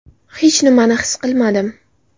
Hech nimani his qilmasdim.